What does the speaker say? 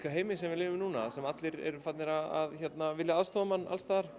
heimi sem við lifum í núna þar sem allir eru farnir að vilja aðstoða mann alls staðar